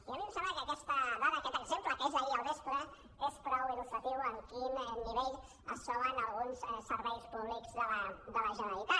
i a mi em sembla que aquesta dada aquest exemple que és d’ahir al vespre és prou il·lustratiu de amb quin nivell es troben alguns serveis públics de la generalitat